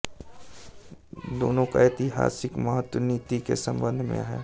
दोनों का ऐतिहासिक महत्व नीति के संबध में है